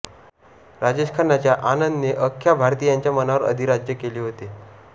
राजेश खन्नाच्या आनंद ने अख्या भारतीयांच्या मनावर अधिराज्य केले होते